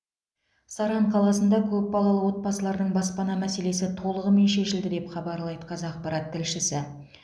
саран қаласында көпбалалы отбасылардың баспана мәселесі толығымен шешілді деп хабарлайды қазақпарат тілшісі